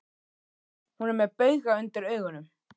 Hún er með bauga undir augunum.